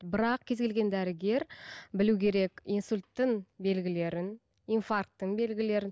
бірақ кез келген дәрігер білу керек инсульттің белгілерін инфаркттің белгілерін